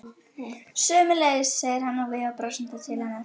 Sömuleiðis, segir hann og veifar brosandi til hennar.